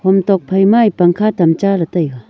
tokphai ma ye pangkha tam cha le taiga.